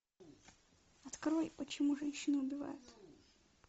открой почему женщины убивают